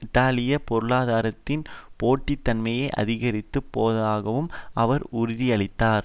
இத்தாலிய பொருளாதாரத்தின் போட்டி தன்மையை அதிகரிக்கப் போவதாகவும் அவர் உறுதியளித்தார்